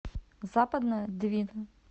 западная двина